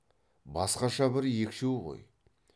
басқаша бір екшеу ғой